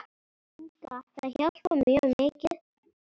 Inga Það hjálpar mjög mikið.